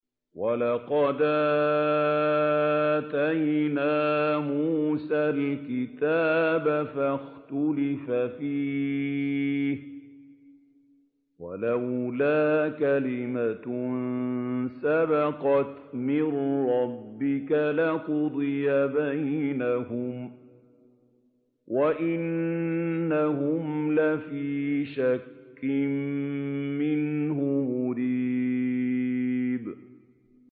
وَلَقَدْ آتَيْنَا مُوسَى الْكِتَابَ فَاخْتُلِفَ فِيهِ ۗ وَلَوْلَا كَلِمَةٌ سَبَقَتْ مِن رَّبِّكَ لَقُضِيَ بَيْنَهُمْ ۚ وَإِنَّهُمْ لَفِي شَكٍّ مِّنْهُ مُرِيبٍ